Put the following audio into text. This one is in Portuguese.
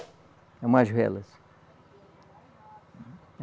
Umas velas